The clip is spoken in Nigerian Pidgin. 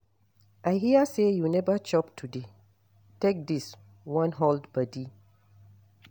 I hear say you never chop today, take dis wan hold body